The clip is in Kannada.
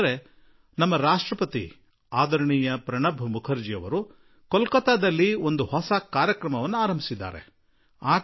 ನಮ್ಮ ರಾಷ್ಟ್ರಪತಿ ಅದರಣೀಯ ಪ್ರಣಬ್ ಮುಖರ್ಜಿಯವರು ಕೋಲ್ಕತ್ತಾದಲ್ಲಿ ಆಕಾಶವಾಣಿ ಮೈತ್ರಿ ಚಾನಲ್ ಎಂಬ ಹೊಸ ಕಾರ್ಯಕ್ರಮಕ್ಕೆ ಚಾಲನೆ ನೀಡಿದರು